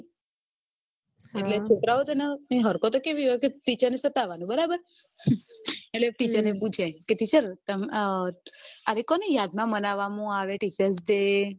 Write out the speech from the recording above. છોકરા ઓ ની હરકતો કેવી હોય teacher ને સતાવોનું બરાબર એટલે teacher આ કોની યાદ માં બનાવ માં આવે teacher day